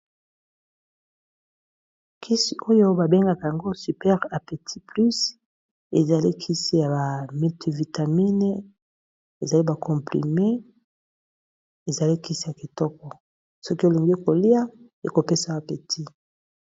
Kisi oyo ba bengaka yango super appetit plus ezali kisi ya ba multi vitamine, ezali ba comprime ezali kisi ya kitoko soki olingi kolia ekopesa yo appetit.